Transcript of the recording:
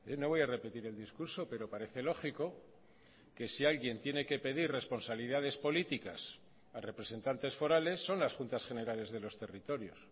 no voy a repetir el discurso pero parece lógico que si alguien tiene que pedir responsabilidades políticas a representantes forales son las juntas generales de los territorios